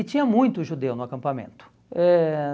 E tinha muito judeu no acampamento. Eh